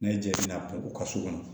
N'a ye jaabi u ka so kɔnɔ